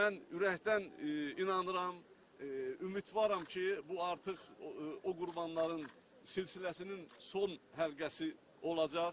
Mən ürəkdən inanıram, ümidvaram ki, bu artıq o qurbanların silsiləsinin son həlqəsi olacaq.